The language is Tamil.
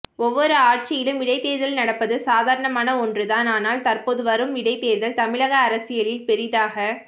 ஒவ்வொரு ஆட்சியிலும் இடைத்தேர்தல் நடப்பது சாதாரணமான ஒன்று தான் ஆனால் தற்போது வரும் இடைத்தேர்தல் தமிழக அரசியலில் பெரியதாக